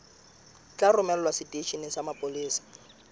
tla romelwa seteisheneng sa mapolesa